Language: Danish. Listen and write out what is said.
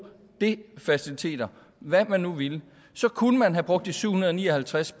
de faciliteter hvad man nu ville så kunne man have brugt de syv hundrede og ni og halvtreds